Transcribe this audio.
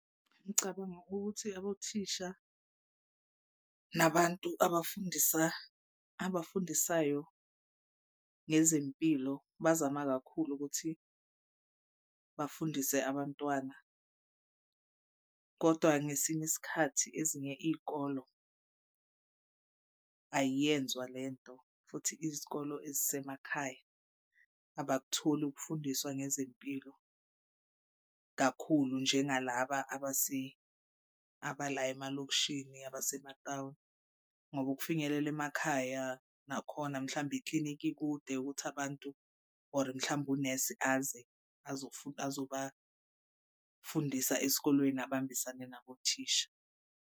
Ngicabanga ukuthi abothisha nabantu abafundisa abafundisayo ngezempilo bazama kakhulu ukuthi bafundise abantwana. Kodwa ngesinye isikhathi ezinye iy'kolo ayenzwa le nto. Futhi izikole ezisemakhaya abakutholi ukufundiswa ngezempilo kakhulu njengalaba abala emalokishini abasematawuni, ngoba ukufinyelela emakhaya nakhona mhlawumbe iklinikhi ikude ukuthi abantu, or mhlawumbe unesi aze azobafundisa esikolweni abambisane nabothisha.